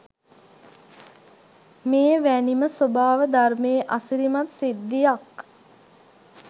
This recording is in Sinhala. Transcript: මෙ වැනි ම ස්වභාව ධර්මයේ අසිරිමත් සිද්ධියක්